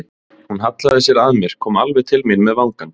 Hún hallaði sér að mér, kom alveg til mín með vangann.